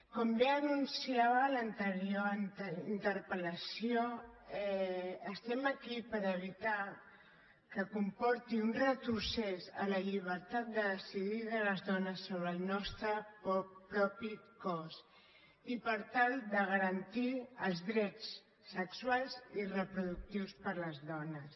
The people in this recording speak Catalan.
com bé anunciava l’anterior interpel·lació estem aquí per evitar que comporti un retrocés a la llibertat de decidir de les dones sobre el nostre propi cos i per tal de garantir els drets sexuals i reproductius per a les dones